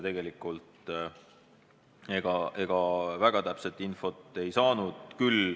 Tegelikult ega me väga täpset infot ei saanud.